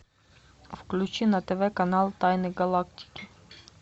включи на тв канал тайны галактики